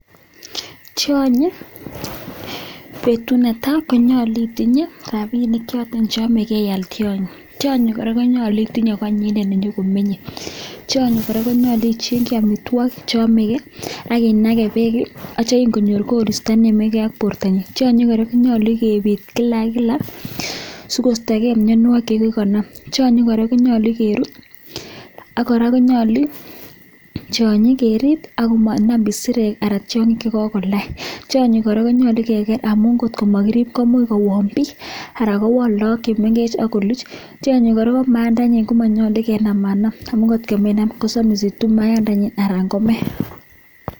Tyonyi betut netai konyolu itinye rabinik choto che yome ial tyony. Tionyi kora konyolu itinye konyine ne nyokomenye. Tionyi kora konyolu ichengi amitwogik che yome ge ak inage beek ak kityo ingonyor koristo nenomegei ak bortanyin, tionyi kora konyolu kebit kila ak kila sikostoge mianwokig che imuch konam. Tionyi kora konyolu kerut ak kora konyolu kerib ak komanam isirek anan tiong'ik che kogonam. Tonyi kora konyolu keger amun kotko mokirib komuch kowon biik anan kowonlagok che mengech ak koluch. Tiony kora ko mayandanyin ko monyolu kenamanam amun kotkinam kosomisitu mayandanyin anan kome.